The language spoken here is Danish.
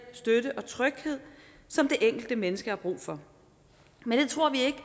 støtte og tryghed som det enkelte menneske har brug for men det tror vi ikke